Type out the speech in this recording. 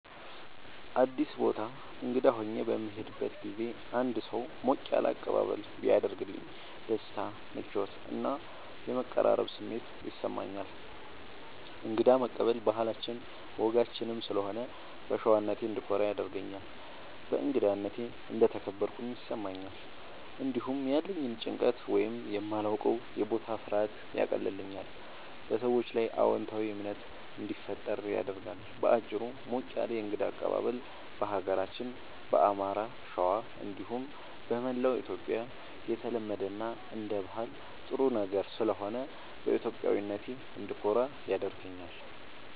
አዲስ ቦታ እንግዳ ሆኜ በምሄድበት ጊዜ አንድ ሰው ሞቅ ያለ አቀባበል ቢያደርግልኝ ደስታ፣ ምቾት እና የመቀራረብ ስሜት ይሰማኛል። እንግዳ መቀበል ባህላችንም ወጋችንም ስለሆነ በሸዋነቴ እንድኮራ ያደርገኛል። በእንግዳነቴ እንደተከበርኩም ይሰማኛል። እንዲሁም ያለኝን ጭንቀት ወይም የማላዉቀዉ የቦታ ፍርሃት ያቀልልኛል፣ በሰዎቹም ላይ አዎንታዊ እምነት እንዲፈጠር ያደርጋል። በአጭሩ፣ ሞቅ ያለ የእንግዳ አቀባበል በሀገራችን በአማራ(ሸዋ) እንዲሁም በመላዉ ኢትዮጽያ የተለመደ እና አንደ ባህል ጥሩ ነገር ስለሆነ በኢትዮጵያዊነቴ እንድኮራ ያደርገኛል።